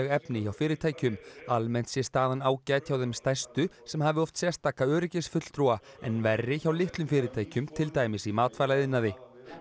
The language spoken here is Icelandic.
efni hjá fyrirtækjum almennt sé staðan ágæt hjá þeim stærstu sem hafi oft sérstaka öryggisfulltrúa en verri hjá litlum fyrirtækjum til dæmis í matvælaiðnaði